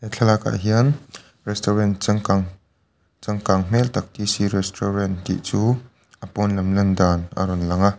thlalak ah hian restaurant changkang changkang hmel tak t c restaurant tih chu a pawn lam landan alo lang a.